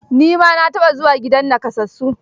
Ni ma na taɓa zuwa gidan nakasassu.